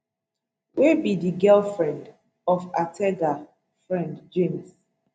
wey be di girlfriend of ataga friend james